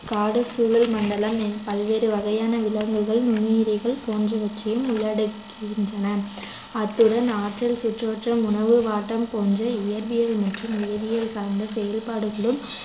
காடுச் சூழல்மண்டலம் பல்வேறு வகையான விலங்குகள் நுண்ணுயிர்கள் போன்றவற்றையும் உள்ளடக்குகின்றன அத்துடன் ஆற்றல், சுற்றோட்டம், உணவு வாட்டம், போன்ற இயற்பியல் மற்றும் வேதியியல் சார்ந்த செயற்பாடுகளும்